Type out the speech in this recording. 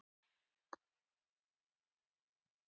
Valgeir Örn: Hvernig er færið?